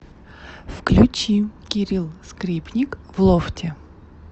включи кирилл скрипник в лофте